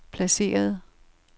placeret